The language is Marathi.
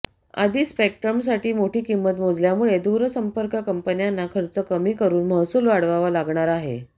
आधीच स्पेक्ट्रमसाठी मोठी किंमत मोजल्यामुळे दूरसंपर्क कंपन्यांना खर्च कमी करून महसूल वाढवावा लागणार आहे